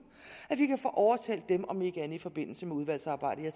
om ikke andet i forbindelse med udvalgsarbejdet